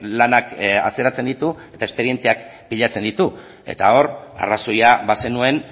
lanak atzeratzen ditu espedienteak pilatzen ditu eta hor arrazoia bazenuen